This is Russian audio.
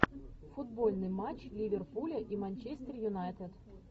футбольный матч ливерпуля и манчестер юнайтед